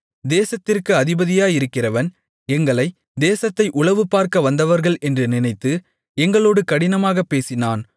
தேசத்திற்கு அதிபதியாயிருக்கிறவன் எங்களை தேசத்தை உளவுபார்க்க வந்தவர்கள் என்று நினைத்து எங்களோடு கடினமாகப் பேசினான்